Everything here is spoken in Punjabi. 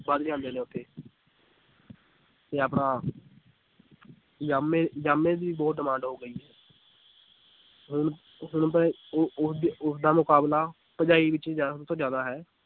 ਵੱਧ ਜਾਂਦੇ ਨੇ ਉੱਥੇ ਤੇ ਆਪਣਾ ਜਾਮੇ ਜਾਮੇ ਦੀ ਬਹੁਤ demand ਹੋ ਗਈ ਹੈ ਹੁਣ ਹੁਣ ਤਾਂ ਇਹ ਉਹ ਉਹਦੀ ਉਹਦਾ ਮੁਕਾਬਲਾ ਤੋਂ ਜ਼ਿਆਦਾ ਹੈ